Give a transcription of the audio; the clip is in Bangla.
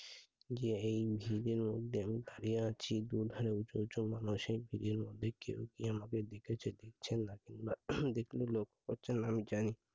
ধারিয়া আছি কেউ কি আমাকে দিতে চোখে দিচ্ছেন নাকি বিপ্লবময়